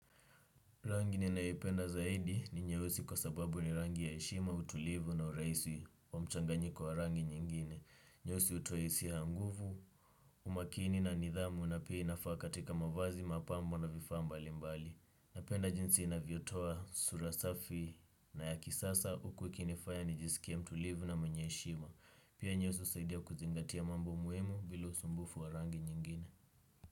Rangi ninaipenda zaidi ni nyeusi kwa sababu ni rangi ya heshima, utulivu na urahisi wa mchanganyiko wa rangi nyingine. Nyeusi hutoa hisia ya nguvu, umakini na nidhamu na pia inafaa katika mavazi, mapambo na vifaa mbali mbali. Napenda jinsi inavyotoa sura safi na ya kisasa huku ikinifanya nijisikie mtulivu na mwenye heshima. Pia nyeusi husaidia kuzingatia mambo muhimu bila usumbufu wa rangi nyingine.